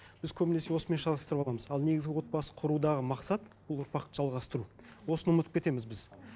біз көбінесе осымен шатастырып аламыз ал негізгі отбасы құрудағы мақсат ол ұрпақты жалғастыру осыны ұмытып кетеміз біз